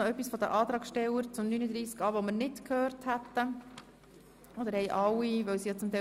Möchten die Antragsteller noch etwas zu Artikel 39a sagen, was bisher noch nicht gesagt werden konnte?